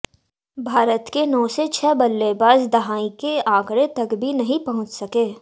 भारत के नौ में छह बल्लेबाज़ दहाई के आंकड़े तक भी नहीं पहुंच सके